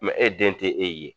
e den te e ye.